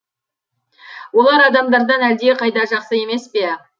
олар адамдардан әлдеқайда жақсы емес пе